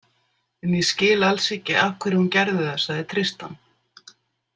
En ég skil alls ekki af hverju hún gerði það, sagði Tristan.